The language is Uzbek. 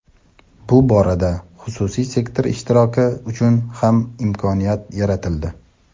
bu borada xususiy sektor ishtiroki uchun ham imkoniyat yaratildi.